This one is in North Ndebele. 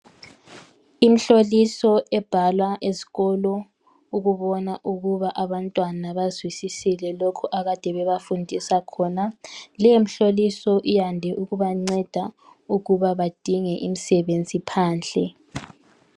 imhloliso ebhalwa ezikolo ukubonsa ukuba abantwana bazwisisile lokhu abakade bebafundisa khona leyo mhloliso iyande ukubanceda ukuba badinge imsebenzi phandle